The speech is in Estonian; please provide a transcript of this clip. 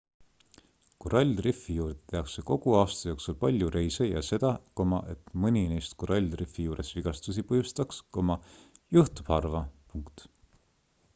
korallrifi juurde tehakse kogu aasta jooksul palju reise ja seda et mõni neist korallrifi juures vigastusi põhjustaks juhtub harva